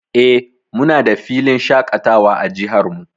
Eh, muna da filin shaƙatawa a jihar mu.